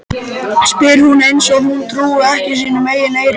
spyr hún eins og hún trúi ekki sínum eigin eyrum.